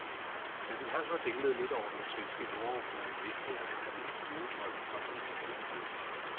Da vi hang og dinglede lidt over den svenske jordoverflade vidste jeg, at min flyvedrøm var blevet til virkelighed.